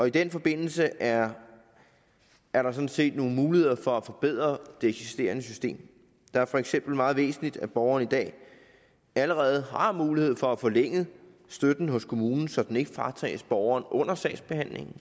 i den forbindelse er er der sådan set nogle muligheder for at forbedre det eksisterende system det er for eksempel meget væsentligt at borgerne i dag allerede har mulighed for at få forlænget støtten hos kommunen så den ikke fratages borgeren under sagsbehandlingen